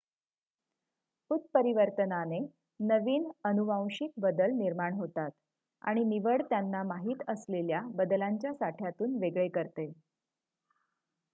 उत्परीवर्तनाने नवीन अनुवांशिक बदल निर्माण होतात आणि निवड त्यांना माहित असलेल्या बदलांच्या साठ्यातून वेगळे करते